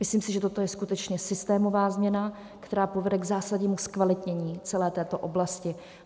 Myslím si, že toto je skutečně systémová změna, která povede k zásadnímu zkvalitnění celé této oblasti.